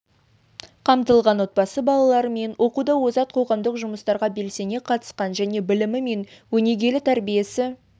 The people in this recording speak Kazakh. қамтылған отбасы балалары мен оқуда озат қоғамдық жұмыстарға белсене қатысқан және білімі мен өнегелі тәрбиесі